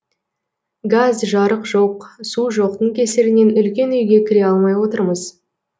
газ жарық жоқ су жоқтың кесірінен үлкен үйге кіре алмай отырмыз